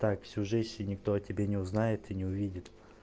так всю жизнь и никто о тебе не узнает и не увидит